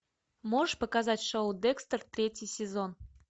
можешь показать шоу декстер третий сезон